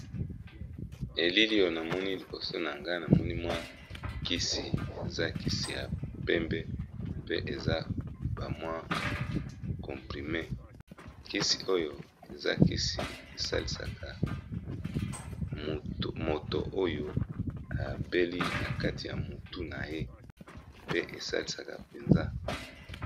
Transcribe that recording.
Elilio na moni liboso na nga na monimwa kisi eza kisi ya pembe pe eza bamwa comprime kisi oyo eza kisi esalisaka moto oyo ebeli na kati ya motu na ye pe esalisaka mpenza.